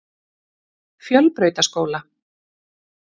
Fjölbrautaskóla